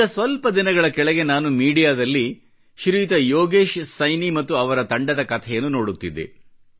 ಈಗ ಸ್ವಲ್ಪ ದಿನಗಳ ಕೆಳಗೆ ನಾನು ಮೀಡಿಯಾ ದಲ್ಲಿ ಶ್ರೀಯುತ ಯೋಗೇಶ್ ಸೈನಿ ಮತ್ತು ಅವರ ತಂಡದ ಕಥೆಯನ್ನು ನೋಡುತ್ತಿದ್ದೆ